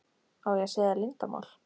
Á ég að segja þér leyndarmál?